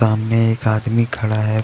सामने एक आदमी खड़ा है.